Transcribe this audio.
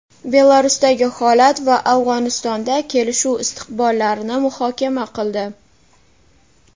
Belarusdagi holat va Afg‘onistonda kelishuv istiqbollarini muhokama qildi.